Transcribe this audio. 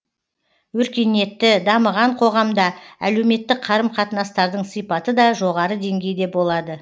өркениетті дамыған қоғамда әлеуметтік қарым қатынастардың сипаты да жоғары деңгейде болады